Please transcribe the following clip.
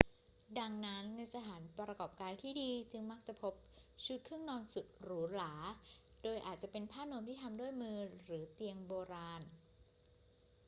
ดังนั้น ในสถานประกอบการที่ดีจึงมักจะพบชุดเครื่องนอนสุดหรูหรา โดยอาจจะเป็นผ้านวมที่ทำด้วยมือหรือเตียงโบราณ